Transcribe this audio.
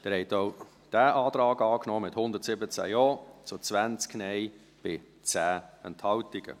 Sie haben auch diesen Antrag angenommen, mit 117 Ja- zu 20 Nein-Stimmen bei 10 Enthaltungen.